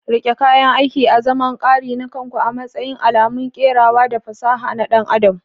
Riƙe kayan aiki azaman kari na kanku, a matsayin alamun kerawa da fasaha na ɗan adam.